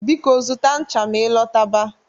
Biko, zụta ṅcha ma ị lọta ba